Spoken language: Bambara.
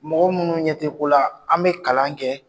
Mɔgɔ minnu ɲɛ tɛ ko la, an bɛ kalan kɛ.